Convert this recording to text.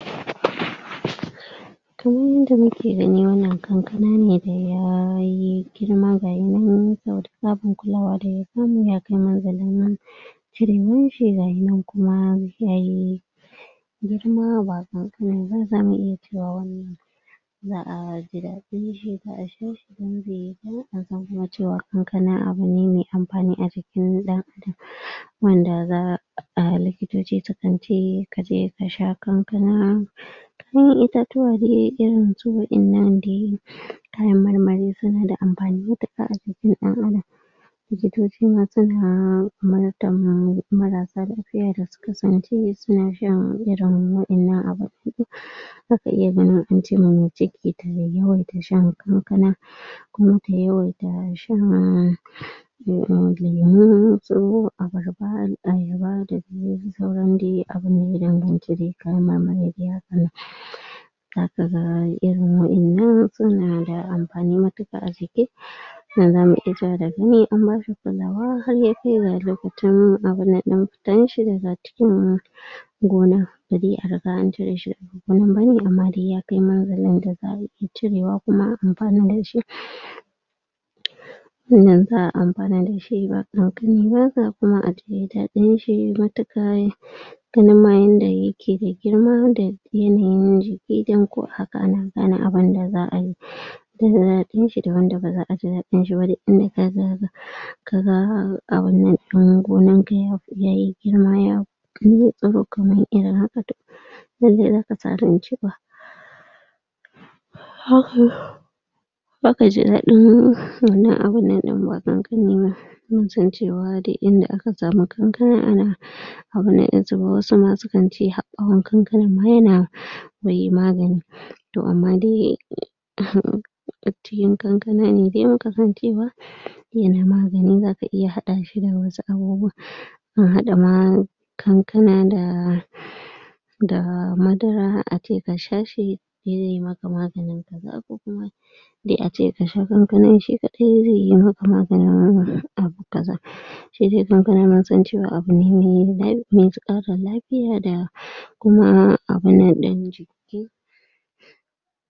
Kaman yanda kuke gani wannan kankana ne da yayi girma gaya nan saboda tsaban kulawa da ya samu ya kai munzalin cirewan shi gashi nan kuma yayi girma ba ƙanƙani ba zamu iya cewa wani za'a ji daɗin shi za'a sha kankana abu ne mai amfani a jikin ɗan wanda za a likitoci sukan ce kaje ka sha kankana itatuwa dai irin su waƴannan dai kayan mar-mari su na da amfani matuƙa a jikin ɗan-adam likitoci ma su na umurtar marasa lafiya da su kasance su na shan irin waƴannan abu za ka iya ganin ance ma mai ciki ta yawaita shan kankana kuma ta yawaita shan um lemu su abarba, ayaba da dai sauran dai abunda ya danganci dai kayan mar-mari da hakan nan za ka ga irin waƴannan su na da amfani matuƙa a jiki Nan za mu iya cewa da gani an ba shi kulawa har ya kai ga loka cin abun nan ɗin fitan shi daga cikin gona ba de a riga an cire shi daga nan bane amma dai ya kai munzalin da za'a iya cirewa kuma a amfani da shi. nan za'a amfana da shi ba kafin ma a yayi daɗin shi matuƙa ganin ma yanda yake da girma da yanayin jiki don ko a haka ana gane abunda za'a yi da za'a ji daɗin shi da wanda ba za'a ji daɗin shi ba duk inda ka zaga ka ga abun nan ɗin gonar ka ya fi yayi girma ya tsuru-tsuru kamar irin haka to lallai kar ka sa ran cewa ba ka ji daɗin wannan abun nan ɗin ba mun san cewa duk inda aka samu kankana ana abu na wasu ma sukan ce har ɓawa kankanan ma ya na wai magani. To amma dai um cikin kankana ne dai muka san cewa ya na magani za ka iya hada shi da wasu abubuwa an hada ma kankana da da madara ace ka sha shi zai maka maganin kaza ko kuma dai ace ka sha kankanan shi kaɗai zai maka maganin abu kaza shi dai kankan mun san cewa abu ne mai me ƙara lafiya da kuma abun nan ɗin